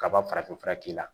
Kaba farafinfura k'i la